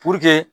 Puruke